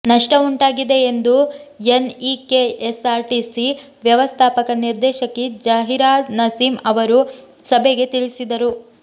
ನಷ್ಟವುಂಟಾಗಿದೆ ಎಂದು ಎನ್ಇಕೆಎಸ್ಆರ್ಟಿಸಿ ವ್ಯವಸ್ಥಾಪಕ ನಿರ್ದೇಶಕಿ ಜಹೀರಾನಸೀಂ ಅವರು ಸಭೆಗೆ ತಿಳಿಸಿದರು